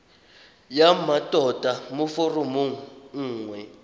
ya mmatota mo foromong nngwe